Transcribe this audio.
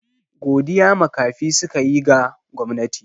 Godiya makafi suka yi ga gwamnati.